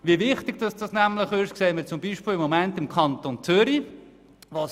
Wie wichtig das ist, sehen wir im Moment im Kanton Zürich.